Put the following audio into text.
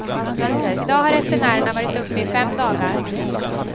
I dag har resenärerna varit uppe i fem dagar.